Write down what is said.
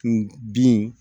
N bin